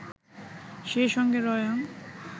সেই সঙ্গে রয়ং